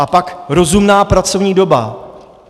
A pak rozumná pracovní doba.